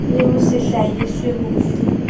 le ho se hlahiswe hofe